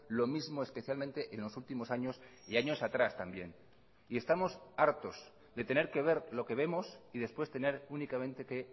lo mismo especialmente en los últimos años y años atrás también y estamos hartos de tener que ver lo que vemos y después tener únicamente que